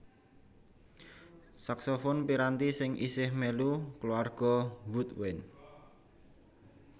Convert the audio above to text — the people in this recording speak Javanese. Saksofon piranti sing isih mèlu kulawarga woodwind